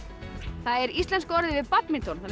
það er íslenska orðið yfir badminton þannig